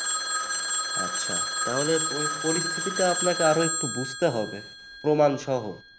আচ্ছা তাহলে পরিস্থিতিটা আপনাকে আরেকটু বুঝতে হবে প্রমাণসহ